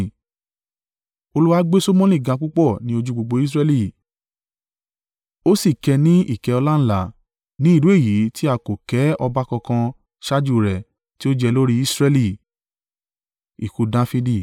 Olúwa gbé Solomoni ga púpọ̀ ní ojú gbogbo Israẹli, ó sì kẹ́ ẹ ní ìkẹ́ ọláńlá, ní irú èyí tí a kò kẹ́ ọba kankan ṣáájú rẹ̀ tí ó jẹ lórí Israẹli.